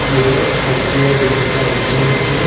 यह SBI bank का ATM है।